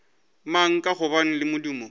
mang ka gobane le modumo